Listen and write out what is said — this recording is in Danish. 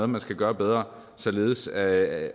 man skal gøre bedre således at